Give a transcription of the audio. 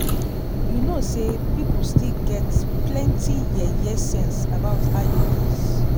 you know say people still get plenty yeye sense about iuds